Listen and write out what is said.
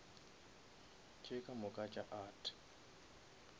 tše ka moka tša art